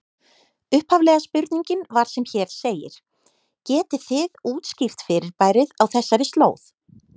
Upphaflega spurningin var sem hér segir: Getið þið útskýrt fyrirbærið á þessari slóð?